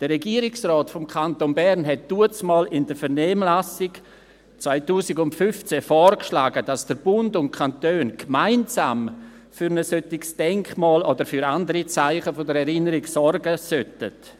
Der Regierungsrat des Kantons Bern schlug damals in der Vernehmlassung 2015 vor, dass der Bund und die Kantone gemeinsam für ein solches Denkmal oder für andere Zeichen der Erinnerung sorgen sollten.